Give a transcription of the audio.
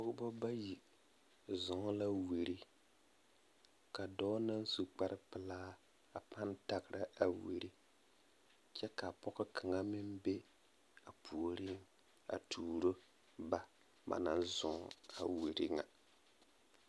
Pɔgeba bayi zɔɔ la wiri ka dɔɔ naŋ su kpare pelaa a pãã tagera wiri kyɛ ka pɔge kaŋa meŋ be a puoriŋ a tuuro ba ba naŋ zɔɔ a wiri ŋa.